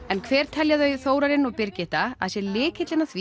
en hver telja þau Þórarinn og Birgitta að sé lykillinn að því